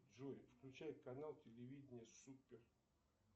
джой включай канал телевидения супер